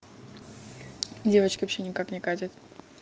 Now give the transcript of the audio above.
девочки вообще никак не катят